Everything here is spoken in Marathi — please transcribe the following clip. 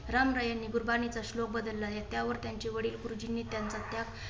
रामरायांनी गुरबाणीचा श्लोक बदलला आहे. त्यावर त्यांचे वडील गुरुजींनी त्याचा त्याग